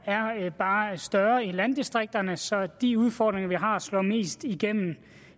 er bare større i landdistrikterne så de udfordringer vi har slår mest igennem